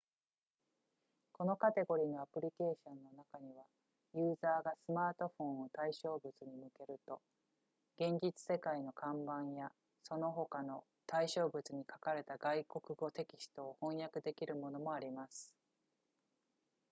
このカテゴリのアプリケーションの中にはユーザーがスマートフォンを対象物に向けると現実世界の看板やその他の対象物に書かれた外国語テキストを翻訳できるものもあります